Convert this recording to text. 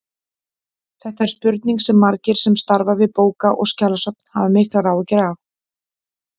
Þetta er spurning sem margir sem starfa við bóka- og skjalasöfn hafa miklar áhyggjur af.